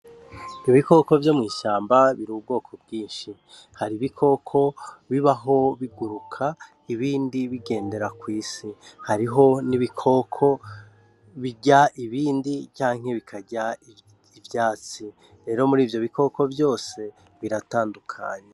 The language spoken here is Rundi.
Ibikoko vyo mw'ishamba biri ubwoko bwinshi, hari ibikoko bibaho biguruka ibindi bigendera kw'isi, hariho n'ibikoko birya ibindi canke bikarya ivyatsi rero muri ivyo bikoko vyose biratandukanye.